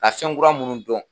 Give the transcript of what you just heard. Ka fɛn kura minnu dɔn